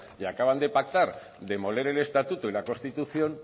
y acaban de pactar demoler el estatuto y la constitución